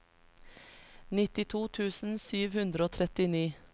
nittito tusen sju hundre og trettini